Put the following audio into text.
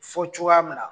Fɔ cogoya min na